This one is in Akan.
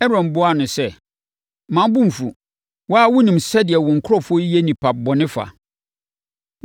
Aaron buaa no sɛ, “Mma wo bo mfu. Wo ara wonim sɛdeɛ wo nkurɔfoɔ yi yɛ nnipa bɔne fa.